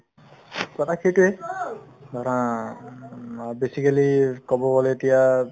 কথা সেইটোয়ে ধৰা উম অ basically ক'ব গ'লে এতিয়া